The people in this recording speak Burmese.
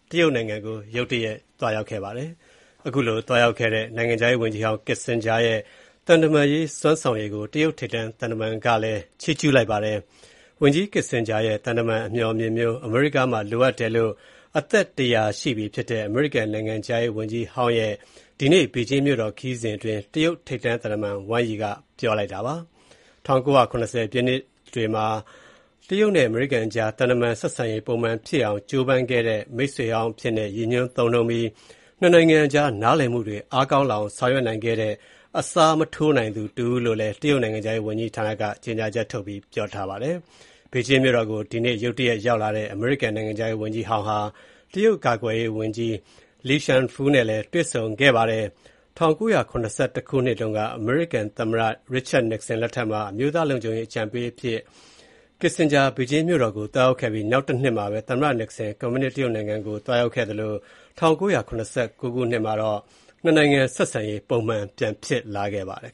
တရုတ်နိုင်ငံကို ရုတ်တရက် သွားရောက်ခဲ့တဲ့ အမေရိကန် နိုင်ငံခြားရေးဝန်ကြီးဟောင်း Henry Kissinger ရဲ့ သံတမန်ရေး စွမ်းဆောင်ရည်ကို တရုတ်ထိပ်တန်းသံတမန်က ချီးကျုးလိုက်ပါတယ်။ Kissinger ရဲ့ သံတမန်အမျှော်အမြင်မျိုး အမေရိကန်မှာ လိုအပ်တယ်လို့ အသက် ၁၀၀ ရှိပြီဖြစ်တဲ့ အမေရိကန်နိုင်ငံခြားရေးဝန်ကြီးဟောင်းရဲ့ ဒီကနေ့ ဘေဂျင်းမြို့တော် ခရီးစဉ်အတွင်း တရုတ်ထိပ်တန်းသံတမန် Wang Yi က ပြောလိုက်တာပါ။ ၁၉၇၀ ပြည့်လွန်နှစ်တွေမှာ တရုတ်နဲ့ အမေရိကန်ကြား သံတမန်ဆက်ဆံရေး ပုံမှန်ပြန်ဖြစ်အောင် ကြိုးပမ်းခဲ့တဲ့ မိတ်ဆွေဟောင်းအဖြစ်နဲ့ ရည်ညွှန်းသုံးနှုန်းပြီး၊ ၂ နိုင်ငံကြား နားလည်မှုတွေ အားကောင်းလာအောင် ဆောင်ရွက်နိုင်ခဲ့တဲ့ အစားမထိုးနိုင်သူ တဦးလို့လည်း တရုတ်နိုင်ငံခြားရေးဝန်ကြီးဌာနက ထုတ်ပြန်တဲ့ ကြေညာချက်မှာ ပြောဆိုထားပါတယ်။ ဘေဂျင်းမြို့တော်ကို ဒီကနေ့ ရုတ်တရက် ရောက်လာတဲ့ အမေရိကန်နိုင်ငံခြားရေးဝန်ကြီးဟောင်းဟာ တရုတ်ကာကွယ်ရေးဝန်ကြီး Li Shangfu နဲ့လည်း တွေ့ဆုံခဲ့တာပါ။ ၁၉၇၁ ခုနှစ်တုန်းက သမ္မတ Richard Nixon လက်ထက်မှာ အမျိုးသားလုံခြုံရေး အကြံပေးအရာရှိအဖြစ် Kissinger ဘေဂျင်းမြို့တော်ကို သွားရောက်ခဲ့ပြီး နောက်တနှစ်မှာပဲ သမ္မတ Nixon ကွန်မြူနစ်တရုတ်နိုင်ငံကို သွားရောက်ခဲ့သလို၊ ၁၉၇၉ ခုနှစ်မှာတော့ ၂ နိုင်ငံ ဆက်ဆံရေး ပုံမှန်ပြန်ဖြစ်လာခဲ့ပါတယ်